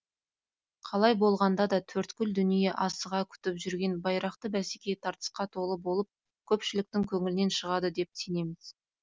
қалай болғанда да төрткүл дүние асыға күтіп жүрген байрақты бәсеке тартысқа толы болып көпшіліктің көңілінен шығады деп сенеміз